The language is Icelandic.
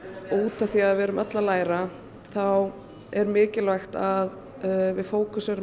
út af því að við erum öll að læra þá er mikilvægt að við fókuserum